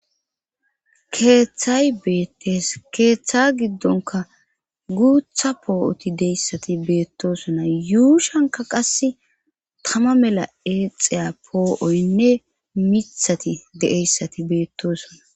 Keeththay beettes keeththa giddonka guutha poo7oti deyssati beettosona yuu shanka qas tama mela eexeya poo7oynne mithati de7eyssati beettosona